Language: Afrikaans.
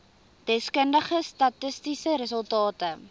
deskundige statistiese resultate